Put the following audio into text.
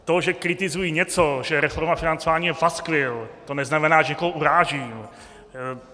To, že kritizuji něco, že reforma financování je paskvil, to neznamená, že někoho urážím.